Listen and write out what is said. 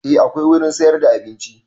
A akwai wurin siyar da abinci